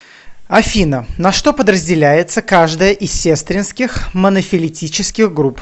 афина на что подразделяется каждая из сестринских монофилетических групп